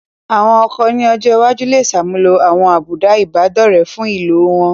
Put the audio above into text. Àwọn ọkọ̀ ní ọjọ́ iwájú lè ṣàmúlò àwọn àbùdá Ìbádọ́rẹ̀ẹ́ fún ìlò wọn